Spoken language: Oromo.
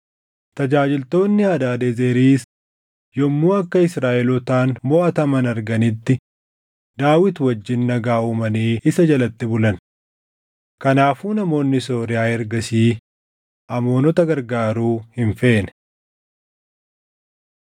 Tajaajiltoonni Hadaadezeriis yommuu akka Israaʼelootaan moʼataman arganitti Daawit wajjin nagaa uumanii isa jalatti bulan. Kanaafuu namoonni Sooriyaa ergasii Amoonota gargaaruu hin feene.